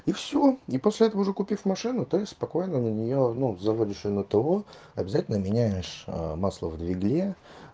и всё и после этого уже купив машину ты спокойно на неё ну заводишь её на то обязательно меняешь масло в двигателе